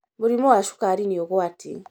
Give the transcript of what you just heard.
Mũrimũ wa cukari nĩ ũgwati